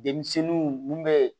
Denmisɛnninw mun bɛ yen